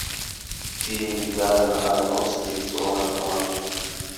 фильм даррена аронофски про наркоманов